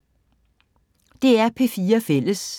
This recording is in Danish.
DR P4 Fælles